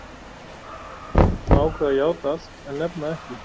Hann var strax búinn að ákveða að játa allt en nefna ekki